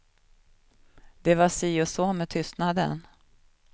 Det var si och så med tystnaden.